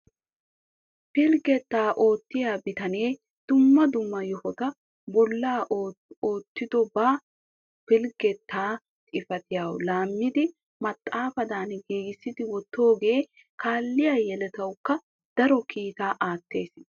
Pilggetta oottiya bitanee dumma dumma yohotu bolla oottido ba polggeta xifaatiyassi laammidi maxaafadan giigissi wottidooge kaalliya yelatawukka daro kiittaa aattes.